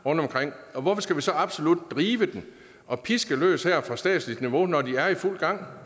rundtomkring og hvorfor skal vi så absolut drive dem og piske løs her fra statsligt niveau når de er i fuld gang